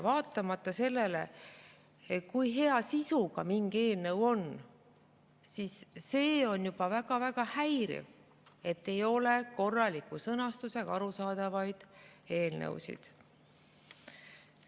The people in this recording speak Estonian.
Vaatamata sellele, kui hea sisuga mingi eelnõu on, on see väga-väga häiriv, et ei ole korraliku sõnastusega arusaadavaid eelnõusid.